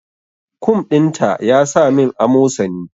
Kum din ta yasa min amosani